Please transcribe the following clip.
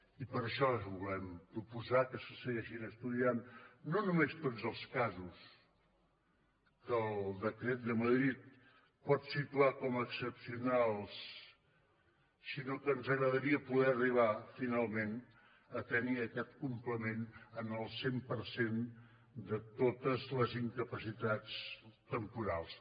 i per això volem proposar que se segueixin estudiant no només tots els casos que el decret de madrid pot situar com a excepcionals sinó que ens agradaria poder arribar finalment a tenir aquest complement en el cent per cent de totes les incapacitats temporals